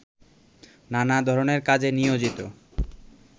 নানা ধরনের কাজে নিয়োজিত